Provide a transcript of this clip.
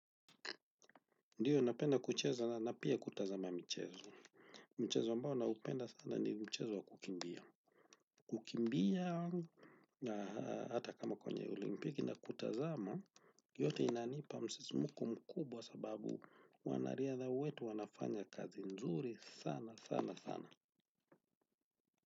Ndiyo, ninapenda kucheza na pia kutazama michezo. Mchezo ambao naupenda sana ni mchezo wa kukimbia. Kukimbia hata kama kwenye olimpiki nakutazama, yote inanipa msisimko mkubwa sababu wanariadha wetu wanafanya kazi nzuri sana, sana, sana.